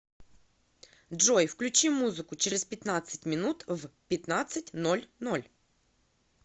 джой включи музыку через пятнадцать минут в пятнадцать ноль ноль